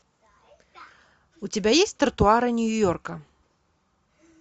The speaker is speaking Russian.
у тебя есть тротуары нью йорка